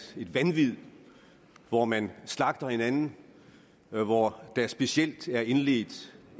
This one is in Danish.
vanvid hvor man slagter hinanden hvor der specielt er indledt